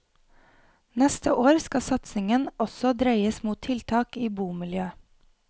Neste år skal satsingen også dreies mot tiltak i bomiljøet.